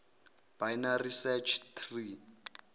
binary search tree